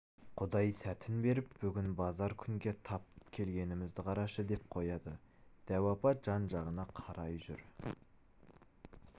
құдай сәтін беріп бүгін базар күнге тап келгенімізді қарашы деп қояды дәу апа жан-жағына қарай жүр